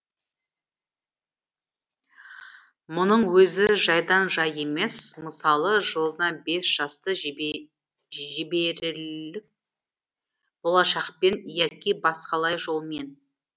мұның өзі жайдан жай емес мысалы жылына бес жасты жіберелік болашақпен яки басқалай жолмен